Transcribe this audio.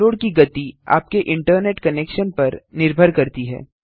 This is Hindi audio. डाउनलोड की गति आपके इंटरनेट कनेक्शन पर निर्भर करती है